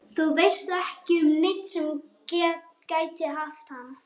Þú veist ekki um neinn sem gæti haft hann?